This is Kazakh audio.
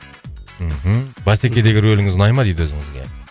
мхм басекедегі рөліңіз ұнай ма дейді өзіңізге